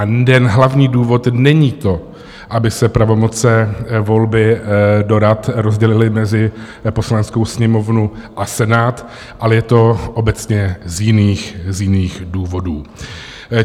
A ten hlavní důvod není to, aby se pravomoce volby do rad rozdělily mezi Poslaneckou sněmovnu a Senát, ale je to obecně z jiných důvodů.